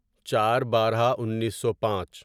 چار بارہ انیسو پانچ